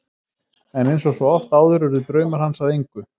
En eins og svo oft áður urðu draumar hans að engu.